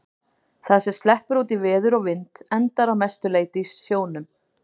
Það sem sleppur út í veður og vind endar að mestu leyti í sjónum.